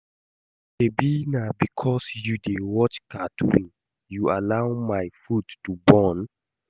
Shebi na because you dey watch cartoon you allow my food to burn